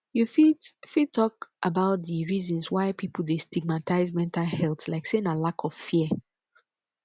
you fit fit talk about di reasons why people dey stigmatize mental health like say na lack of fear